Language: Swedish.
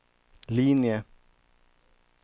linje